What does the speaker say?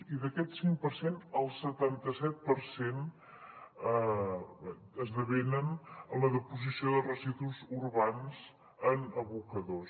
i d’aquest cinc per cent el setanta set per cent esdevenen en la deposició de residus urbans en abocadors